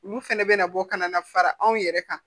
Olu fɛnɛ bɛna bɔ ka na fara anw yɛrɛ kan